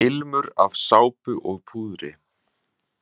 Ilmur af sápu og púðri.